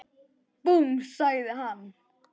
Búmm! sagði hann.